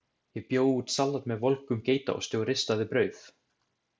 Ég bjó út salat með volgum geitaosti og ristaði brauð.